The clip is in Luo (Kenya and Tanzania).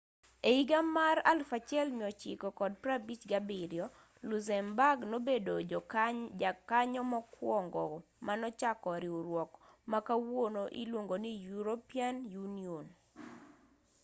e higa mar 1957 luxembourg nobedo jakanyo mokuongo manochako riwruok ma kawuono iluongo ni european union